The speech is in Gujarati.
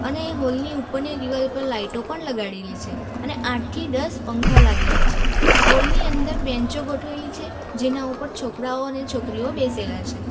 ને હોલની ઉપરની દિવાલ પર લાઇટો પણ લગાડેલી છે અને આઠથી દસ પંખા લાગેલા છે હોલની અંદર બેન્ચઓ ગોઠવેલી છે જેના ઉપર છોકરાઓ અને છોકરીઓ બેસેલા છે.